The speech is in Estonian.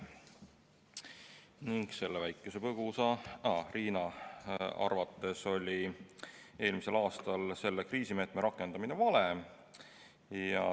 Riina Sikkuti arvates oli eelmisel aastal selle kriisimeetme rakendamine vale.